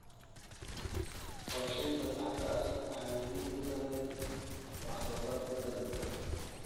Qorshaynta saxda ah waxay muhiim u tahay wax soo saarka dalagga.